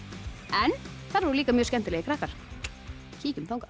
en þar voru líka mjög skemmtilegir krakkar kíkjum þangað